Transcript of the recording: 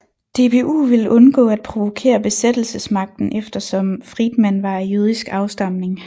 DBU ville undgå at provokere besættelsesmagten eftersom Friedmann var af jødisk afstamning